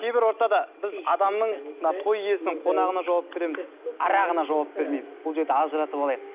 кейбір ортада біз адамның мына той иесінің қонағына жауап береміз арағына жауап бермейміз бұл жерде ажыратып алайық